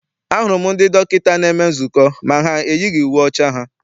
A hụrụ m ndị dọkịta na-eme nzukọ ma ha eyighị uwe ọcha ha.